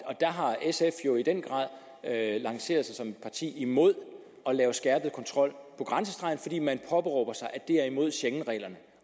og der har sf jo i den grad lanceret sig som et parti imod at lave skærpet kontrol på grænsestregen fordi man påberåber sig at det er imod schengenreglerne